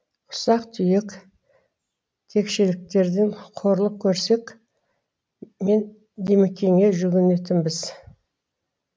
ұсақ түйек текшеліктерден қорлық көрсек мен димекеңе жүгінетінбіз